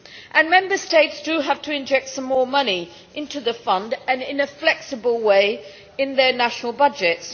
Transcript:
And Member States have to inject some more money into the fund, in a flexible way, in their national budgets.